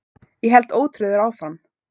Ég held ótrauður áfram.